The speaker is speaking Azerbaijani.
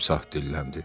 timsah dilləndi.